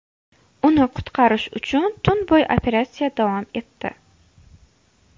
Uni qutqarish uchun tun bo‘yi operatsiya davom etdi.